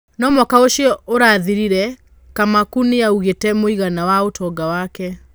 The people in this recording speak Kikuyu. No mwaka ũcio ũrathĩrire, Kamaku nĩaugĩte mũigana wa ũtonga wake.